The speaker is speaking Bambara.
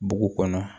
Dugu kɔnɔ